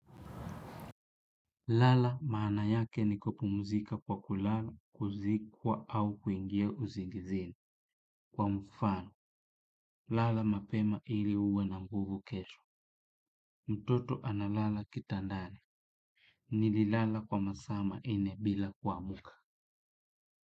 Lala maana yake ni kupumuzika kwa kulala kuzikwa au kuingia uzingizini. Kwa mfano, lala mapema ili uwe na nguvu kesho. Mtoto ana lala kitandani. Nililala kwa masaa manne bila kuamka.